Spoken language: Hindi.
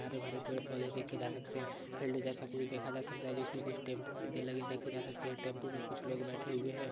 हरे-भरे पेड़ देखे जा सकते है फील्ड जैसा कुछ देखा जा सकता है जिसमे कुछ टेम्पो देखे जा सकते है टेम्पो मे कुछ लोग बैठे हुए है।